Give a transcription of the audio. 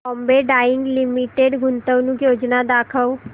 Bombay Dyeing Limited गुंतवणूक योजना दाखव